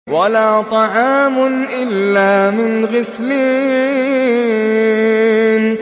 وَلَا طَعَامٌ إِلَّا مِنْ غِسْلِينٍ